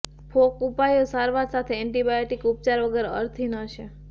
folk ઉપાયો સારવાર સાથે એન્ટીબાયોટીક ઉપચાર વગર અર્થહીન હશે